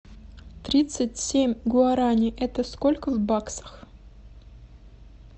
тридцать семь гуарани это сколько в баксах